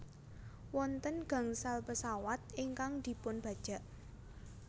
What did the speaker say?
Wonten gangsal pesawat ingkang dipunbajak